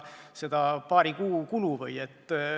Seda paari kuu kulu või?